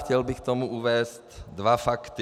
Chtěl bych k tomu uvést dva fakty.